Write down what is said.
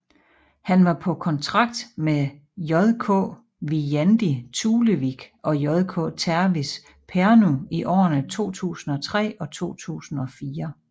Han var på kontrakt med JK Viljandi Tulevik og JK Tervis Pärnu i årene 2003 og 2004